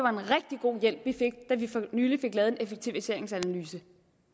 en rigtig god hjælp vi fik da vi for nylig fik lavet en effektiviseringsanalyse